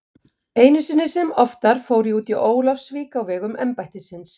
Einu sinni sem oftar fór ég út í Ólafsvík á vegum embættisins.